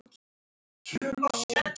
hugsaði Smári.